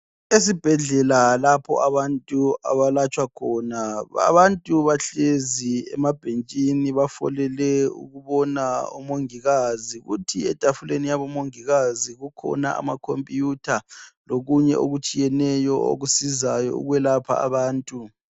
Esibhedlela lapho abantu abalatshwa khona. Abantu bahlezi emabhentshini bafolele ukubona omongikazi. Kuthi etafuleni yabo mongikazi kukhona amakhompiyutha lokunye okutshiyeneyo okusizayo ukwelapha abantu.